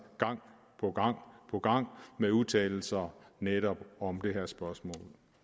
gang på gang med udtalelser netop om det her spørgsmål